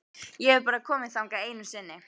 Ég hef bara komið þangað einu sinni.